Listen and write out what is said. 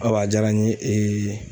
Awa jara n ye